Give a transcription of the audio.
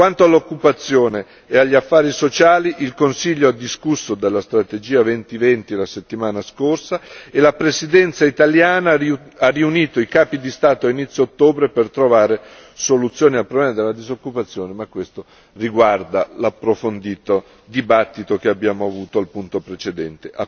Quanto all'occupazione e agli affari sociali, il Consiglio ha discusso della strategia Europa 2020 la settimana scorsa, e la presidenza italiana ha riunito i capi di Stato a inizio ottobre per trovare soluzioni al problema della disoccupazione, ma questo riguarda l'approfondito dibattito che abbiamo avuto al punto precedente.